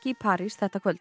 París þetta kvöld